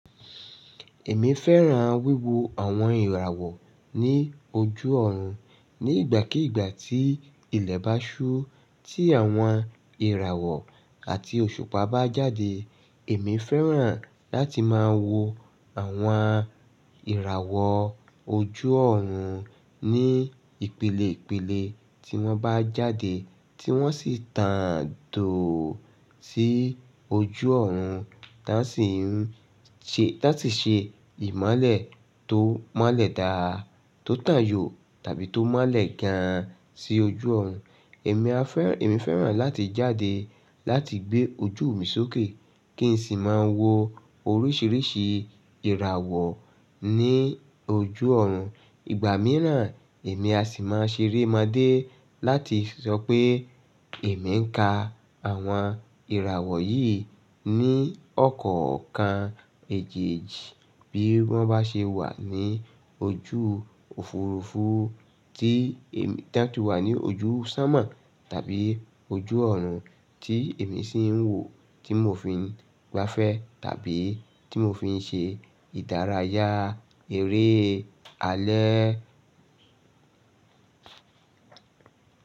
Èmi fẹ́ràn wíwo àwọn ìràwọ̀ ní ojú ọ̀run. Ni ìgbàkígbà tí ilẹ̀ bá ṣú, tí àwọn ìràwọ̀ àti òṣùpá bá jáde, èmi fẹ́ràn láti máa wo àwọn ìràwọ̀ ojú ọ̀run ní ìpele ìpele tí wọ́n bá jáde, tí wọ́n sì tàǹ doo sí ojú ọ̀run, ti won si n láti ṣe ìmolẹ̀ tó mọ́lẹ̀ dáadáa, tó tàn yó tàbí tó mọ́lẹ̀ gan-an sí ojú ọ̀run. Èmi fẹ́ràn láti jáde láti gbé ojú mi sókè kí n sì máa wo oríṣiríṣi ìràwọ̀ ní ojú ọ̀run. Ìgbà mìíràn èmi a sì máa ṣerémọ́dé láti sọ pé èmi ń ka àwọn ìràwọ̀ yìí ní ọ̀kọ̀ọ̀kan èjì-èjì bí wọ́n bá ṣe wà ní ojú òfurufú ti tí wà ní ojú sonmo tàbí ojú ọ̀run tí èmi sì ń wò, tí mò fi ń gbafẹ́ tàbí tí mò fi ń ṣe ìdárayá eré alẹ́.